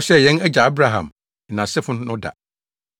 a ɔhyɛɛ yɛn agya Abraham ne nʼasefo no da.”